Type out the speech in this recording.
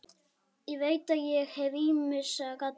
Ég veit að ég hef ýmsa galla.